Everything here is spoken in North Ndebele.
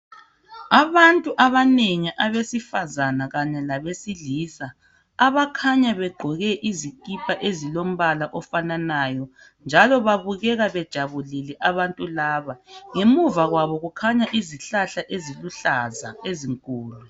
Abantu abanengi abesifazana kanye labesilisa abakhanya begqoke izikipa ezilombala ofananayo njalo babukeka bejabulile abantu laba. Ngemuva kwabo kukhanya izihlahla eziluhlaza ezinkulu.